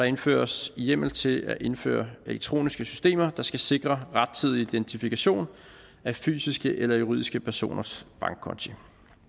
indføres hjemmel til at indføre elektroniske systemer der skal sikre rettidig identifikation af fysiske eller juridiske personers bankkonti